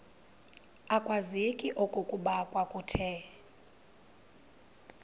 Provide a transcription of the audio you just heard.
akwazeki okokuba kwakuthe